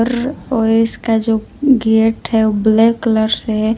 और इसका जो गेट हैं वह ब्लैक कलर से --